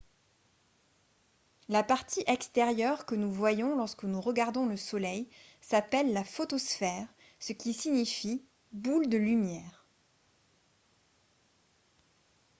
la partie extérieure que nous voyons lorsque nous regardons le soleil s’appelle la photosphère ce qui signifie « boule de lumière »